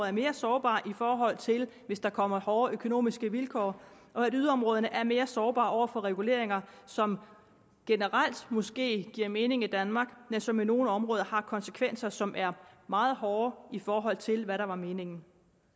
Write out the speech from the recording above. er mere sårbare i forhold til hvis der kommer hårde økonomiske vilkår og at yderområderne er mere sårbare over for reguleringer som måske generelt giver mening i danmark men som i nogle områder har konsekvenser som er meget hårde i forhold til hvad der var meningen